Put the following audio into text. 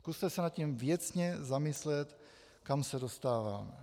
Zkuste se nad tím věcně zamyslet, kam se dostáváme.